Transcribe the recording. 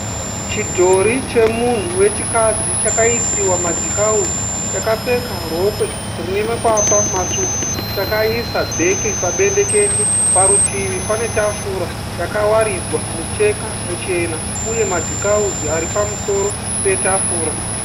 Chidhori chemunhu wechikadzi chakaisiwa madhikauzi. Chakapfeka rokwe rinemakwapa matsvuku chaisa bheke pabendekete. Parutivi pane tafura rakawaridzwa mucheka muchena uye madhikauzi ari pamusoro petafura.